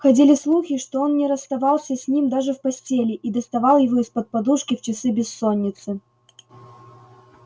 ходили слухи что он не расставался с ним даже в постели и доставал его из-под подушки в часы бессонницы